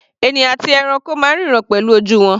Ènìyàn àti ẹranko máa ń ríran pẹ̀lú ojú wọn.